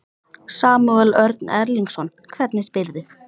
Samúel Örn Erlingsson, hvernig spyrðu?